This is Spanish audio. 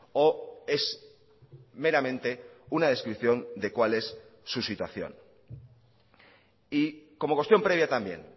o es meramente una descripción de cuál es su situación y como cuestión previa también